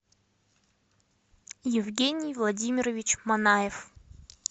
евгений владимирович манаев